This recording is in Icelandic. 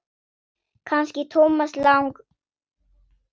Kannski Thomas Lang.?